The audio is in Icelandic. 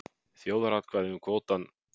Þjóðaratkvæði um kvótann